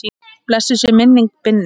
Blessuð sé minning Binnu.